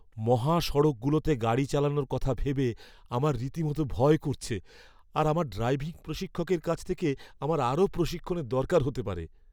মহাসড়কগুলোতে গাড়ি চালানোর কথা ভেবে আমার রীতিমতো ভয় করছে আর আমার ড্রাইভিং প্রশিক্ষকের কাছ থেকে আমার আরও প্রশিক্ষণের দরকার হতে পারে।